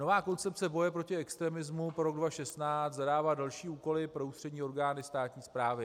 Nová Koncepce boje proti extremismu pro rok 2016 zadává další úkoly pro ústřední orgány státní správy.